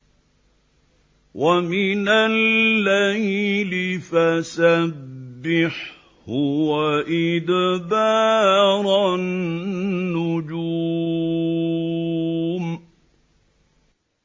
وَمِنَ اللَّيْلِ فَسَبِّحْهُ وَإِدْبَارَ النُّجُومِ